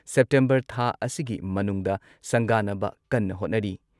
September ꯊꯥ ꯑꯁꯤꯒꯤ ꯃꯅꯨꯡꯗ ꯁꯪꯒꯥꯅꯕ ꯀꯟꯅ ꯍꯣꯠꯅꯔꯤ꯫